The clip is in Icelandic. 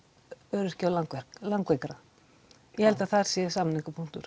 öryrkja og langveikra ég held að þar sé